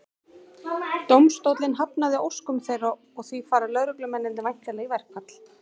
Dómstóllinn hafnaði óskum þeirra og því fara lögreglumennirnir væntanlega í verkfall.